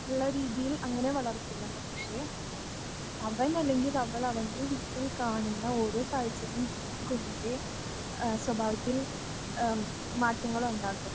ള്ള രീതിയിൽ അങ്ങനെ വളർത്തില്ല പക്ഷേ അവനല്ലെങ്കിൽ അവൾ അവൻ്റെ വീട്ടിൽ കാണുന്ന ഓരോ കാഴ്ചകളും കുഞ്ഞിൻ്റെ ആ സ്വഭാവത്തിൽ ആ മാറ്റങ്ങളൊണ്ടാക്കും